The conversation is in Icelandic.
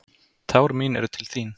Tár mín eru til þín.